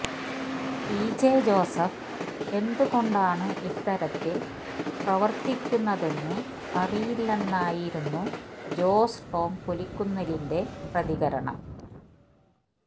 P J Joseph എന്തുകൊണ്ടാണ് ഇത്തരത്തില് പ്രവര്ത്തിക്കുന്നതെന്ന് അറിയില്ലെന്നായിരുന്നു ജോസ് ടോം പുലിക്കുന്നിലിന്റെ പ്രതികരണം